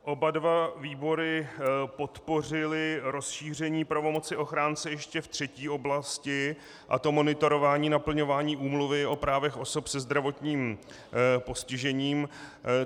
Oba dva výbory podpořily rozšíření pravomoci ochránce ještě v třetí oblasti, a to monitorování naplňování Úmluvy o právech osob se zdravotním postižením.